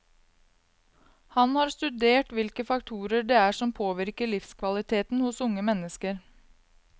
Han har studert hvilke faktorer det er som påvirker livskvaliteten hos unge mennesker.